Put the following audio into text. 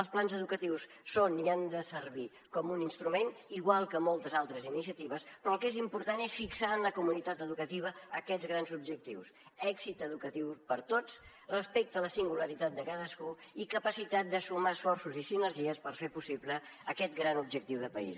els plans educatius són i han de servir com un instrument igual que moltes altres iniciatives però el que és important és fixar en la comunitat educativa aquests grans objectius èxit educatiu per a tots respecte a la singularitat de cadascú i capacitat de sumar esforços i sinergies per fer possible aquest gran objectiu de país